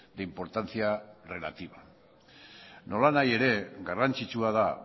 de importancia relativa nolanahi ere garrantzitsua da